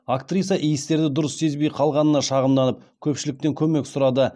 актриса иістерді дұрыс сезбей қалғанына шағымданып көпшіліктен көмек сұрады